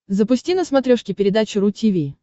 запусти на смотрешке передачу ру ти ви